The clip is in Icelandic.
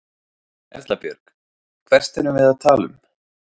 Erla Björg: Hvert erum við að tala um?